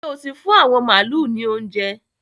Ṣé o ti fún àwọn màálu ní óuńjẹ?